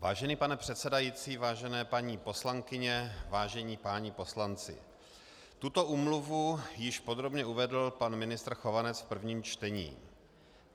Vážený pane předsedající, vážené paní poslankyně, vážení páni poslanci, tuto úmluvu již podrobně uvedl pan ministr Chovanec v prvním čtení.